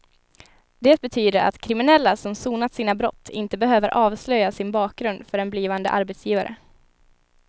Det betyder att kriminella som sonat sina brott inte behöver avslöja sin bakgrund för en blivande arbetsgivare.